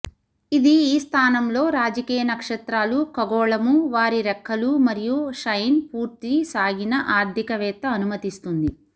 ఇది ఈ స్థానంలో రాజకీయ నక్షత్రాలు ఖగోళము వారి రెక్కలు మరియు షైన్ పూర్తి సాగిన ఆర్థికవేత్త అనుమతిస్తుంది